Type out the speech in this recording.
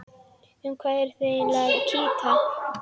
Um hvað eruð þið eiginlega að kýta?